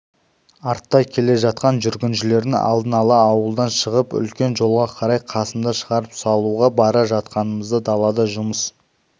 артта келе жатқан жүргіншілердің алдын ала ауылдан шығып үлкен жолға қарай қасымды шығарып салуға бара жатқанымызда далада жұмыс